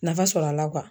Nafa sɔrɔ a la